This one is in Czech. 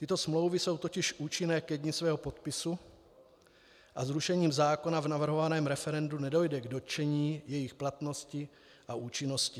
Tyto smlouvy jsou totiž účinné ke dni svého podpisu a zrušením zákona v navrhovaném referendu nedojde k dotčení jejich platnosti a účinnosti.